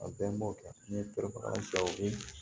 A bɛɛ m'o kɛ n ye terimaw ye